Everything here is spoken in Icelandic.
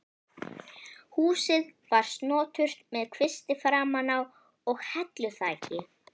Húsið var snoturt með kvisti framan á og helluþaki.